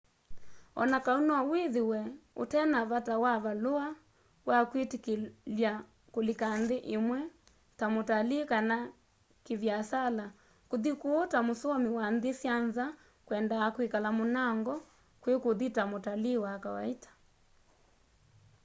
o na kau no withiwe utena vata wa valua wa kwitikilya kulika nthi imwe ta mutalii kana ki viasala kuthi kuu ta musomi wa nthi sya nza kwendaa kwikala munango kwi kuthi ta mutalii wa kawaita